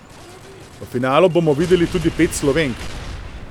V finalu bomo videli tudi pet Slovenk.